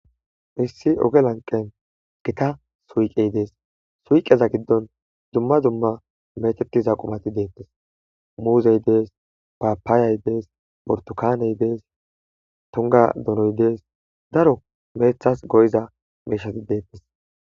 Heyssi oge lanqqen githa suyqee des; suyqeza giddon dumma dumma bayzeththiza qumathi beeththees; muuze des,paappayay des,burththukaanee des,thunggaa donoy des,daro meeththas go7iza miishshathi dees.